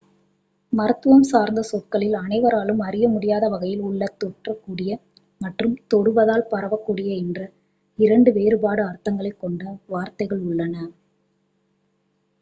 மருத்துவம் சார்ந்த சொற்களில் அனைவராலும் அறியமுடியாத வகையில் உள்ள தொற்றக்கூடிய மற்றும் தொடுவதால் பரவக்கூடிய என்ற இரண்டு வேறுபட்ட அர்த்தங்களை கொண்ட வார்த்தைகள் உள்ளன